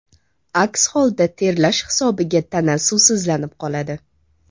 Aks holda terlash hisobiga tana suvsizlanib qoladi.